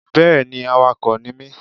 Yes I'm a driver